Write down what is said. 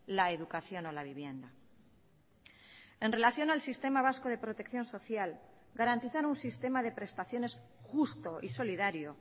la educación o la vivienda en relación al sistema vasco de protección social garantizar un sistema de prestaciones justo y solidario